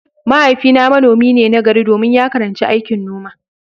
Mahaifina manomi ne nagari domin ya karanci aikin noma.